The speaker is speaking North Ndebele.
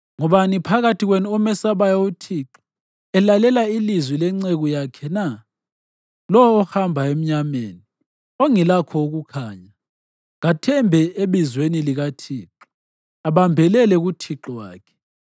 Ngubani phakathi kwenu omesabayo uThixo elalela ilizwi lenceku yakhe na? Lowo ohamba emnyameni, ongelakho ukukhanya, kathembe ebizweni likaThixo abambelele kuThixo wakhe.